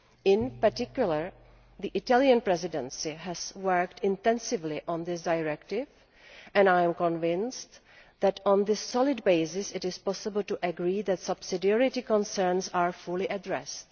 In particular, the Italian Presidency has worked intensively on this directive and I am convinced that, on this solid basis, it is possible to agree that subsidiarity concerns be fully addressed.